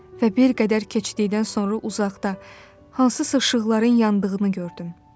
Və bir qədər keçdikdən sonra uzaqda hansısa işıqların yandığını gördüm.